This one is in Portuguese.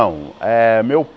Eh meu